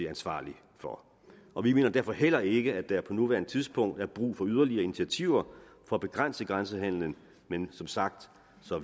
ansvarlig for og vi mener derfor heller ikke at der på nuværende tidspunkt er brug for yderligere initiativer for at begrænse grænsehandelen men som sagt